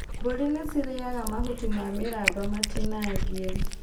Mbũri nĩcirĩaga mahuti ma mĩramba matinangie.